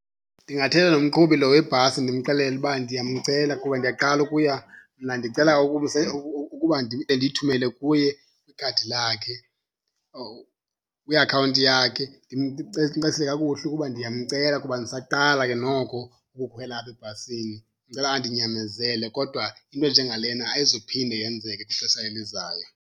Ndingathetha nomqhubi lo webhasi ndimxelele uba ndiyamcela kuba ndiyaqala ukuya, mna ndicela ukuba ndiyithumele kuye kwikhadi, lakhe or kwiakhawunti yakhe. Ndimcacisele kakuhle ukuba ndiyamcela kuba ndisaqala ke noko ukukhwela apha ebhasini, ndicela andinyamezele, kodwa into enje ngalena ayizuphinda yenzeke kwixesha elizayo.